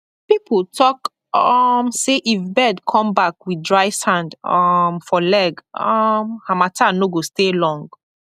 people talk um say if bird come back with dry sand um for leg um harmattan no go stay long